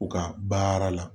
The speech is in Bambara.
U ka baara la